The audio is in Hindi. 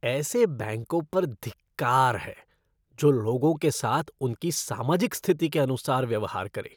ऐसे बैंकों पर धिक्कार है जो लोगों के साथ उनकी सामाजिक स्थिति के अनुसार व्यवहार करे।